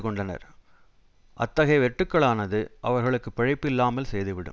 கொண்டனர் அத்தகைய வெட்டுக்களானது அவர்களுக்கு பிழைப்பு இல்லாமல் செய்துவிடும்